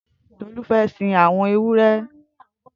Tolu fè sin awọn éwùré